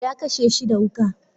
Ya kashe shi da Wuka.